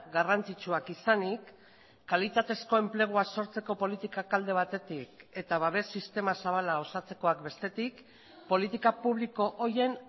garrantzitsuak izanik kalitatezko enplegua sortzeko politikak alde batetik eta babes sistema zabala osatzekoak bestetik politika publiko horien